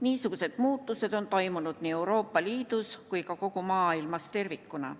Niisugused muutused on toimunud nii Euroopa Liidus kui ka maailmas tervikuna.